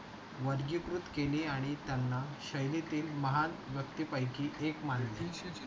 वर्गीकृत केले आणि त्यांना शैलीतील महान व्यक्ती पैकी एक मानले.